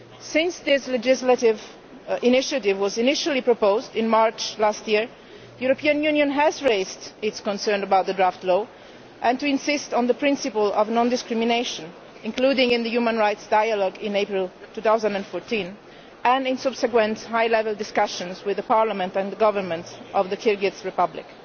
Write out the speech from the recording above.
Since this legislative initiative was initially proposed in March last year, the European Union has raised its concern about the draft law and insisted on the principle of non discrimination, including in the Human Rights Dialogue in April 2014, and in subsequent high level discussions with the parliament and government of the Kyrgyz Republic.